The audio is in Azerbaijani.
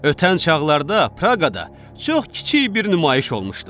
Ötən çağlarda Praqada çox kiçik bir nümayiş olmuşdu.